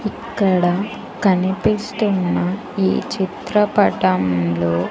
ఇక్కడ కనిపిస్తున్న ఈ చిత్రపటం లో.